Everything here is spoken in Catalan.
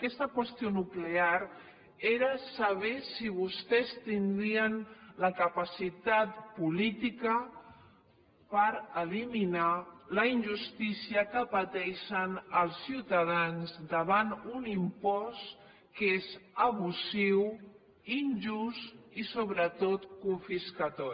aquesta qüestió nuclear era saber si vostès tindrien la capacitat política per eliminar la injustícia que pateixen els ciutadans davant un impost que és abusiu injust i sobretot confiscador